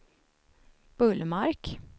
Bullmark